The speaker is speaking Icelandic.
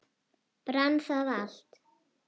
Brann það allt?